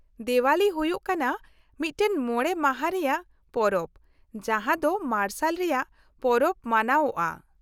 -ᱫᱮᱣᱟᱞᱤ ᱦᱩᱭᱩᱜ ᱠᱟᱱᱟ ᱢᱤᱫᱴᱟᱝ ᱢᱚᱬᱮ ᱢᱟᱦᱟ ᱨᱮᱭᱟᱜ ᱯᱚᱨᱚᱵ ᱡᱟᱦᱟᱸ ᱫᱚ ᱢᱟᱨᱥᱟᱞ ᱨᱮᱭᱟᱜ ᱯᱚᱨᱚᱵ ᱢᱟᱱᱟᱣᱚᱜᱼᱟ ᱾